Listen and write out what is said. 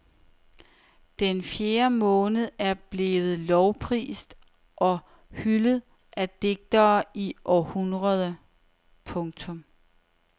Den fjerde måned er ellers blevet lovprist og hyldet af digtere i århundreder. punktum